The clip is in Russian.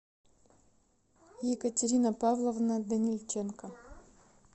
екатерина павловна данильченко